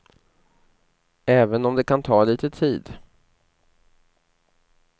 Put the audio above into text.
Även om det kan ta lite tid.